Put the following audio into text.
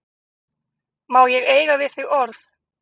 Má ég eiga við þig orð?